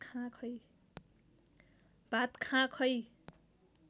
भात खाँ खै